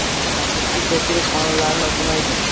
Afsuski, ko‘pchilik qonunlarni o‘qimaydi.